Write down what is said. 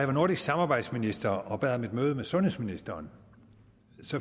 var nordisk samarbejdsminister og bad om et møde med sundhedsministeren